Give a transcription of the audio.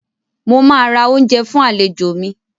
Mo máa ra oúnjẹ fún àlejò mi.